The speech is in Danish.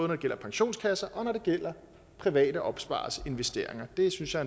det gælder pensionskasser og når det gælder private opspareres investeringer det synes jeg